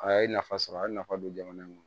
A ye nafa sɔrɔ a ye nafa don jamana in kɔnɔ